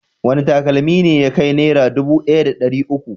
Wane takalmi ne ya kai Naira dubu ɗaya da ɗari uku?